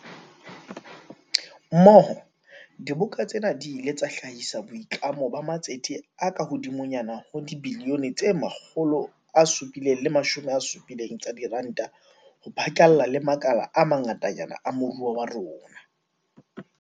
Mmoho, diboka tsena di ile tsa hlahisa boitlamo ba matsete a kahodimonyana ho dibilione tse 770 tsa diranta ho phatlalla le makala a mangatanyana a moruo wa rona.